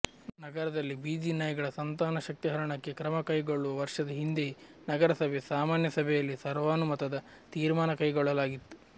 ನಗರದಲ್ಲಿ ಬೀದಿ ನಾಯಿಗಳ ಸಂತಾನಶಕ್ತಿಹರಣಕ್ಕೆ ಕ್ರಮ ಕೈಗೊಳ್ಳಲು ವರ್ಷದ ಹಿಂದೆಯೇ ನಗರಸಭೆ ಸಾಮಾನ್ಯ ಸಭೆಯಲ್ಲಿ ಸರ್ವಾನುಮತದ ತೀರ್ಮಾನ ಕೈಗೊಳ್ಳಲಾಗಿತ್ತು